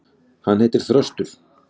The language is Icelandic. Hann heitir Þröstur.